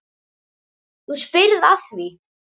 Þú spyrð að því.